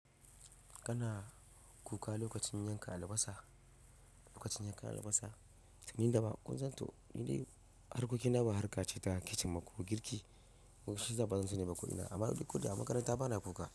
Kana kuka lokacin yanka albasa, lokacin yanka albasa, tunda ba kun san to ni dai harkokina ba harka ce ta kitchen ma ko girki, shi zanba zan sani ne ba kuɗina amma duk kuɗa a makaranta bana kuka.